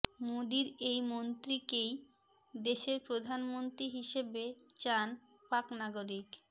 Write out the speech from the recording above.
মোদীর এই মন্ত্রীকেই দেশের প্রধানমন্ত্রী হিসেবে চান পাক নাগরিক